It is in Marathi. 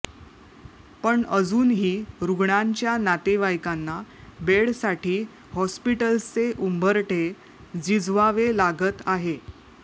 पण अजूनही रुग्णांच्या नातेवाईकांना बेडसाठी हॉस्पिटल्सचे उंबरठे झिजवावे लागत आहे